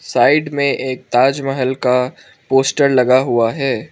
Side में एक ताजमहल का पोस्टर लगा हुआ है।